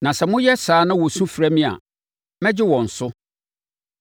na sɛ moyɛ saa na wɔsu frɛ me a, mɛgye wɔn so.